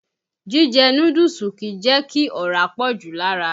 Jíjẹ núdúùsù kìí jẹ́ kí ọ̀rá pọ̀jù lára.